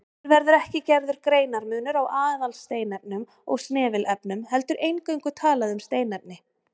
Hér verður ekki gerður greinarmunur á aðalsteinefnum og snefilefnum heldur eingöngu talað um steinefni.